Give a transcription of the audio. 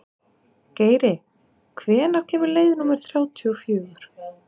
Geiri, hvenær kemur leið númer þrjátíu og fjögur?